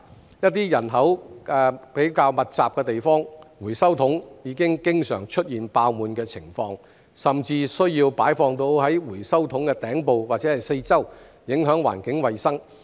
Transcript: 在一些人口較密集的地方，回收桶已經常出現爆滿的情況，甚至需要擺放到回收桶的頂部及四周，影響環境衞生。